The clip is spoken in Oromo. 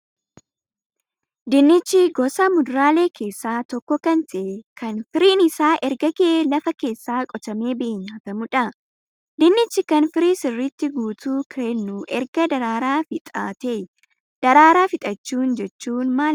Dinnichi gosa muduraalee keessaa tokko kan ta'ee kan firiin isaa erga gahee lafa keessaa qotamee bahee nyaatamudha. Dinnichi kan firii sirriitti guutuu kennu erga daraara fixateeyi. Daraaraa fixachuun jechuun maal ibsaa?